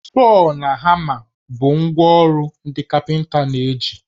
Sọọ na hama bụ ngwá ọrụ ndị kapịnta na-eji